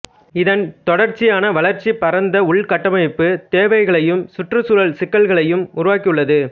இதன் தொடர்ச்சியான வளர்ச்சி பரந்த உள்கட்டமைப்புத் தேவைகளையும் சுற்றுச்சூழல் சிக்கல்களையும் உருவாக்கியுள்ளது